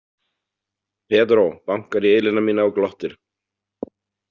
Pedro bankar í ilina mína og glottir.